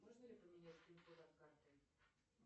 можно ли поменять пин код от карты